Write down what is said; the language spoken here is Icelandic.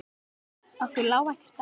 Okkur lá ekkert á.